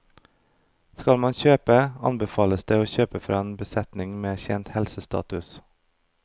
Skal man kjøpe, anbefales det å kjøpe fra en besetning med kjent helsestatus.